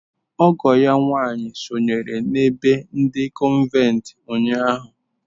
Ọgọ ya nwanyị sonyere n’ebe ndi cọnventi ụnyahụ.